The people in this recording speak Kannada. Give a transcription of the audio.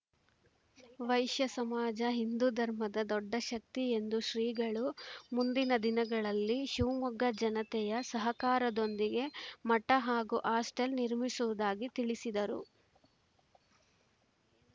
ವೈಶ್ಯ ಸಮಾಜ ಹಿಂದು ಧರ್ಮದ ದೊಡ್ಡ ಶಕ್ತಿ ಎಂದ ಶ್ರೀಗಳು ಮುಂದಿನ ದಿನಗಳಲ್ಲಿ ಶಿವಮೊಗ್ಗ ಜನತೆಯ ಸಹಕಾರದೊಂದಿಗೆ ಮಠ ಹಾಗೂ ಹಾಸ್ಟೆಲ್‌ ನಿರ್ಮಿಸುವುದಾಗಿ ತಿಳಿಸಿದರು